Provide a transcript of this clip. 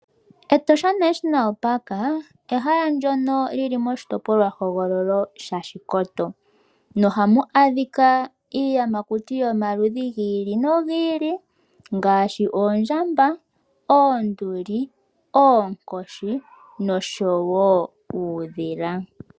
Etosha National Park ehala ndyono lili mOshitopolwa hogololo sha Shikoto. Noha mu adhika iiyamakuti yomaludhi gi ili nogi ili ngaashi oondjamba, oonduli oonkoshi nosho wo uudhila.